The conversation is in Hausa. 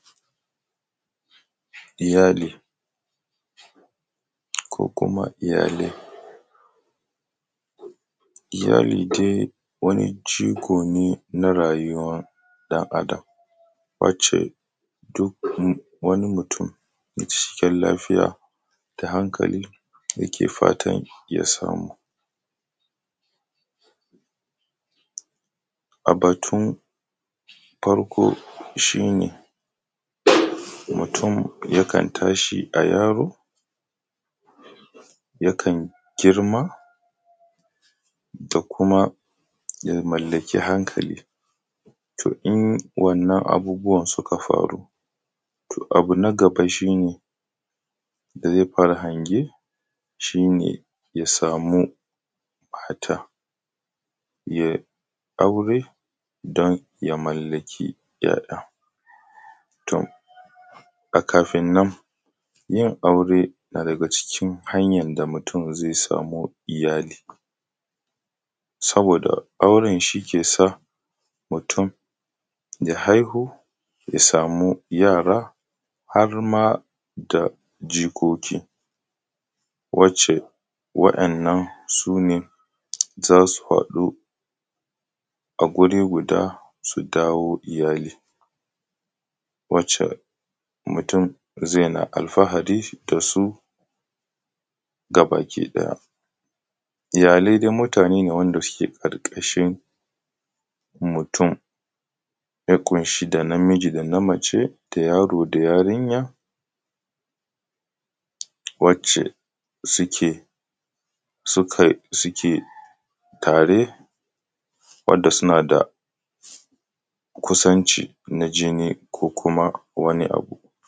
Iyali, ko kuma iyalai. Iyali dai wani jigo ne na rayuwar ɗan’adam, wace duk wani mutum mai cikakken lafiya da hankali yake fatan ya samu. A batun farko shi ne, mutum yakan tashi a yaro, yakan girma da kuma ya mallaki hankali. To in wannan abubuwan suka faru, to abu na gaba shi ne da zai fara hange, shi ne ya samu mata, ya yi aure don ya mallaki `ya `ya. To, a kafin nan, yin aure na daga cikin hanyan da mutum zai samu iyali saboda auren shi ke sa mutum ya haihu, ya samu yara, har ma da jikoki, wace wa’yannan, su ne za su haɗu a guri guda su dawo iyali, wace mutum zai yana alfahari da su gabakiɗaya. Iyalai dai mutane ne wanda suke ƙarƙashin mutum, ya ƙunshi da namiji da na mace, da yaro da yarinya, wace suke, sukai, suke tare, wanda suna da kusanci na jini ko kuma.